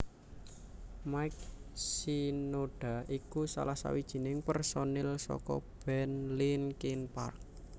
Mike Shinoda iku salah sawijining pérsonil saka band Linkin Park